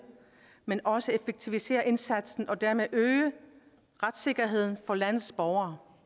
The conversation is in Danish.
men også effektivisere indsatsen og dermed øge retssikkerheden for landets borgere